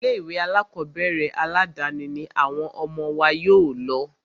Ilé ìwé alákọ̀berẹ̀ aládàni ní àwọn ọmọ wa yóò lọ.